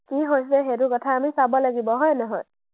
কি হৈছে সেইটো কথা আমি চাব লাগিব, হয় নহয়?